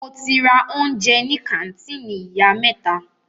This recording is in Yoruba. Mo ti ra oúnjẹ ní kàńtìnì ìyá mẹ́ta.